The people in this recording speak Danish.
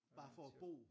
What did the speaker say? Bare for at bo